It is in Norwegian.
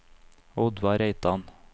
Oddvar Reitan